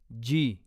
जी